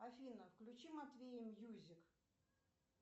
афина включи матвей мьюзик